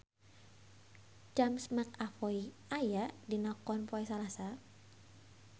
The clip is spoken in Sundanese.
James McAvoy aya dina koran poe Salasa